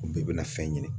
O bɛɛ bɛna fɛn ɲini